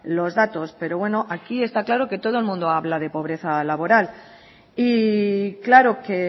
los datos pero bueno aquí está claro que todo el mundo habla de pobreza laboral y claro que